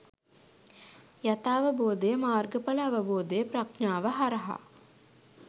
යථාවබෝධය, මාර්ගඵල අවබෝධය ප්‍රඥාව හරහා